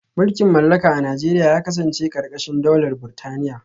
Mulkin mallaka a Najeriya ya kasance karkashin daular Burtaniya